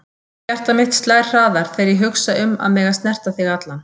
Hjarta mitt slær hraðar þegar ég hugsa um að mega snerta þig allan.